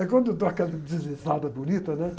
Aí quando eu dou aquela deslizada bonita, né?